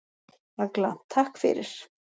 Agla: Takk fyrir.